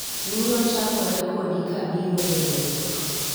luro chakore kodi kabiro e riwruok